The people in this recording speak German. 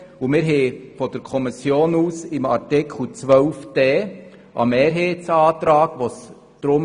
Wir haben von der Kommission zu Artikel 12 Absatz 1 Buchstabe d einen Mehrheitsantrag vorliegend.